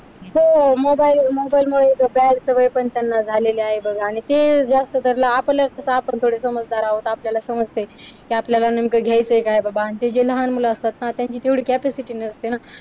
हो. मोबाईल मुळे मोबाईल मुळे तर bad सवय त्यांना झालेली आहे. बघ. आणि ते जास्त धरल आपलं असत तर आपण थोडे समजदार आहोत आपल्याला समजय कि आपल्याला नेमक घ्यायचंय काय बबा आणि ते आणि ते जे लहान मुल असतात ना त्यांची तेवढी capacity नसते ना.